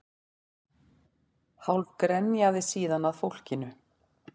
Hálf grenjaði síðan að fólkinu